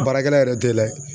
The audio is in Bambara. Baarakɛla yɛrɛ t'e layɛ